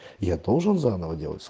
я должен заново делать